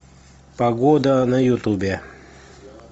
погода на ютубе